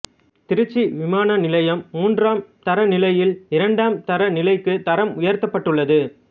திருச்சி விமான நிலையம் மூன்றாம் தர நிலையில் இரண்டாம் தர நிலைக்கு தரம் உயர்த்தப்பட்டுள்ளது